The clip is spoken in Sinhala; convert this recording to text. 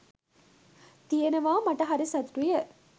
තියෙනවා මට හරි සතුටුය.